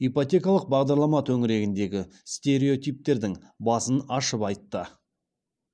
ипотекалық бағдарлама төңірегіндегі стереотиптердің басын ашып айтты